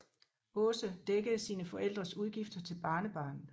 Åse dækkede sine forældres udgifter til barnebarnet